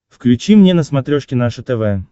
включи мне на смотрешке наше тв